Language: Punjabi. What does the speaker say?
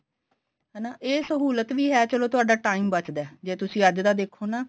ਹਨਾ ਇਹ ਸਹੁਲਤ ਵੀ ਹੈ ਚਲੋ ਤੁਹਾਡਾ time ਬਚਦਾ ਜੇ ਤੁਸੀਂ ਅੱਜ ਦਾ ਦੇਖੋ ਨਾ